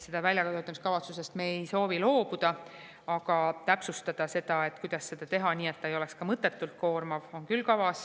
Väljatöötamiskavatsusest me ei soovi loobuda, aga kavas on täpsustada, et kuidas seda teha nii, et see ei oleks ka mõttetult koormav.